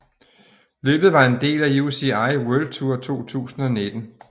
Løbet var en del af UCI World Tour 2019